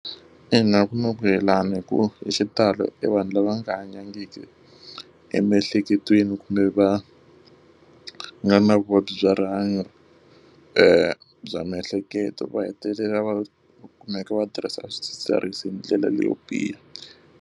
Ina, ku na yelana hikuva hi xitalo e vanhu lava nga hanyangiki emiehleketweni kumbe va nga na vuvabyi bya rihanyo bya miehleketo va hetelela va kumeka va tirhisa swidzidziharisi hi ndlela leyo biha.